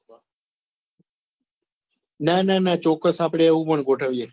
નાના ના ચોક્કસ આપડે એવું પણ ગોઠવીએ.